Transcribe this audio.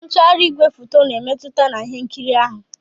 Ntugharị igwefoto na-emmetụta na ihe nkiri ahụ.